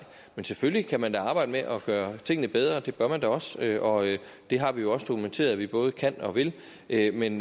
men selvfølgelig kan man da arbejde med at gøre tingene bedre og det bør man da også og det har vi også dokumenteret at vi både kan og vil vil men